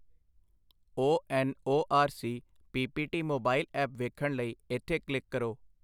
ONORC PPT mobile app ਵੇਖਣ ਲਈ ਇਥੇ ਕਲਿੱਕ ਕਰੋ